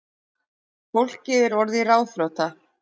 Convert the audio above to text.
Fólkið er orðið ráðþrota